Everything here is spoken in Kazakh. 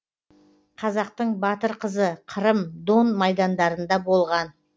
қазақтың батыр қызы қырым дон майдандарында болған